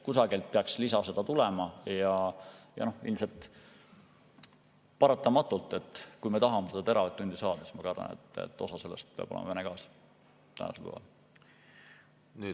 Kusagilt peaks lisa tulema ja ilmselt on paratamatu, et kui me tahame seda teravatt‑tundi saada, siis osa sellest peab tänasel päeval olema Vene gaas.